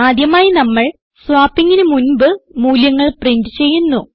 ആദ്യമായി നമ്മൾ swappingന് മുൻപ് മൂല്യങ്ങൾ പ്രിന്റ് ചെയ്യുന്നു